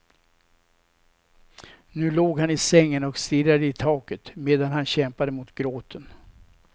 Nu låg han i sängen och stirrade i taket medan han kämpade mot gråten.